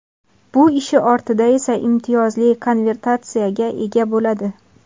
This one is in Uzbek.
Bu ishi ortidan esa imtiyozli konvertatsiyaga ega bo‘ladi.